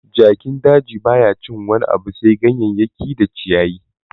Jakin daji baya cin wani abu sai ganyeyaki da ciyayi